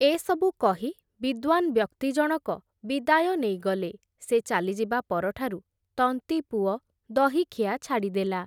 ଏସବୁ କହି, ବିଦ୍ଵାନ୍ ବ୍ୟକ୍ତି ଜଣକ ବିଦାୟ ନେଇଗଲେ, ସେ ଚାଲିଯିବା ପରଠାରୁ, ତନ୍ତୀପୁଅ ଦହିଖିଆ ଛାଡ଼ିଦେଲା ।